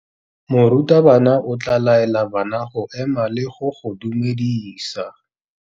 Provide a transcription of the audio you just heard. Morutabana o tla laela bana go ema le go go dumedisa.